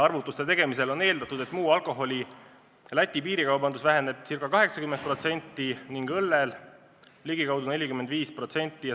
Arvutusi tehes on eeldatud, et muu alkoholi ostud Lätis vähenevad ca 80% ning õlleostud ligikaudu 45%.